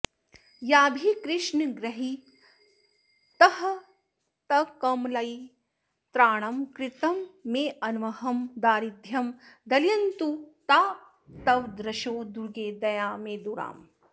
याभिः कृष्णगृहीतहस्तकमलैस्त्राणं कृतं मेऽन्वहं दारिद्यं दलयन्तु तास्तव दृशो दुर्गे दयामेदुराः